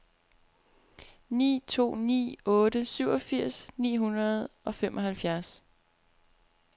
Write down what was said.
ni to ni otte syvogfirs ni hundrede og femoghalvfjerds